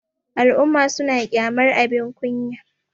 al'umma suna kyamar abin kunya